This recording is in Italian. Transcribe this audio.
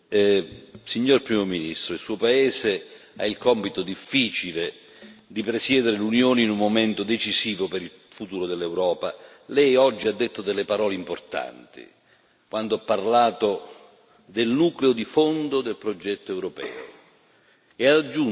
Signor Presidente, onorevoli colleghi, signor Primo Ministro, il suo paese ha il compito difficile di presiedere riunioni in un momento decisivo per il futuro dell'Europa. Lei oggi ha detto delle parole importanti quando ha parlato del nucleo di fondo del progetto europeo.